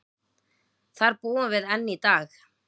Þar búum við enn í dag.